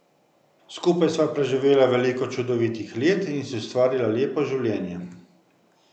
Skupaj sva preživela veliko čudovitih let in si ustvarila lepo življenje.